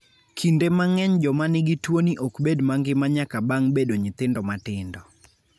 Kinde mang'eny joma nigi tuwoni ok bed mangima nyaka bang' bedo nyithindo matindo.